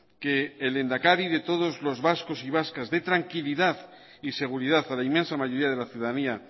que el lehendakari de todos los vascos y vascas dé tranquilidad y seguridad a la inmensa mayoría de la ciudadanía